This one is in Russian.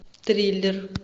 триллер